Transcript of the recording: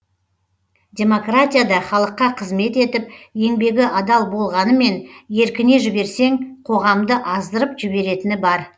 демократия да халыққа қызмет етіп еңбегі адал болғанымен еркіне жіберсең қоғамды аздырып жіберетіні бар